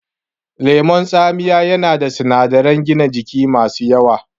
Lemon tsamiya yana da sunadaran gina jiki masu yawa